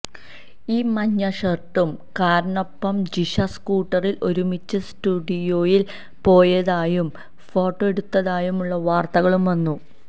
ഈ മഞ്ഞഷർട്ടുകാരനൊപ്പം ജിഷ സ്കൂട്ടറിൽ ഒരുമിച്ച് സ്റ്റുഡിയോയിൽ പോയതായും ഫോട്ടോ എടുത്തതായുമുള്ള വാർത്തകളും വന്നു